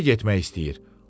Kinoya getmək istəyir.